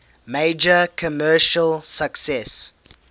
major commercial success